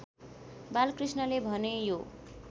बालकृष्णले भने यो